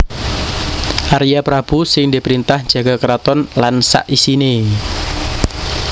Arya Prabu sing diprintah njaga keraton lan sak isiné